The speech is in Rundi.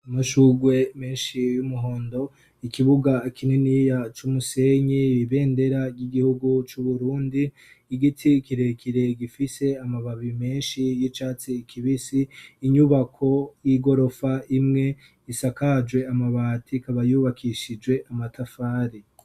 amashugwe menshi y'umuhondo ikibuga kinini ya cumusenyi ibendera ry'igihugu c'uburundi igiti kirekire gifise amababi menshi y'icatsi kibisi inyubako y'igorofa imwe isakajwe amabati kabayubakishije amatafari